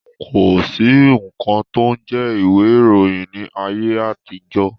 Kosi nkan to ń jẹ́ ìwé ìròyìn ni ayé àtijọ́